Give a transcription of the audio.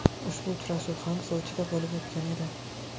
Ushbu uchrashuv ham Sochida bo‘lib o‘tgan edi.